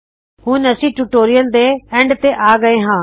ਹੁਣ ਅਸੀ ਟਿਊਟੋਰਿਯਲ ਦੇ ਅੰਤ ਤੇ ਆ ਗਏ ਹਾ